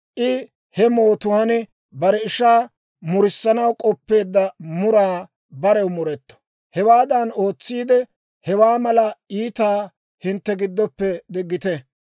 I he mootuwaan bare ishaa murissanaw k'oppeedda muraa barew muretto; hewaadan ootsiide, hewaa mala iitaa hintte giddoppe diggite.